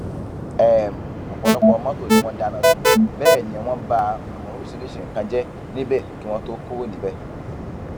um ọpọlọpọ mọtò ni wọn dáná sun bẹẹ ni wọn ba um oríṣiríṣiì nǹkan jẹ níbẹ kí wọn tóó kúrò níbẹ